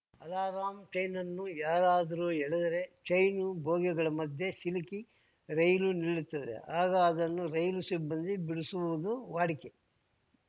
alarm ಚೈನನ್ನು ಯಾರಾದರೂ ಎಳೆದರೆ ಚೈನು ಬೋಗಿಗಳ ಮಧ್ಯೆ ಸಿಲುಕಿ ರೈಲು ನಿಲ್ಲುತ್ತದೆ ಆಗ ಅದನ್ನು ರೈಲು ಸಿಬ್ಬಂದಿ ಬಿಡಿಸುವುದು ವಾಡಿಕೆ